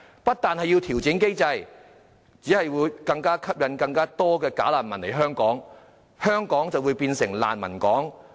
不調整機制，只會吸引更多"假難民"來港，香港便會變成"難民港"。